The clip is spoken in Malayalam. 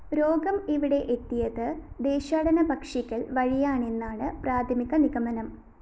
രോഗം ഇവിടെ എത്തിയത് ദേശാടനപ്പക്ഷികള്‍ വഴിയാണെന്നാണ് പ്രാഥമിക നിഗമനം